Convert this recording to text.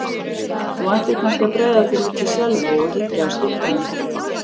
Þú ættir kannski að bregða þér út í Selvog og hyggja að stúlkunni.